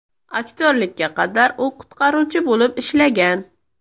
Aktyorlikka qadar u qutqaruvchi bo‘lib ishlagan.